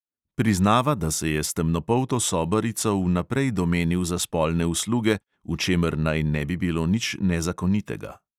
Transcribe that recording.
Priznava, da se je s temnopolto sobarico vnaprej domenil za spolne usluge, v čemer naj ne bi bilo nič nezakonitega.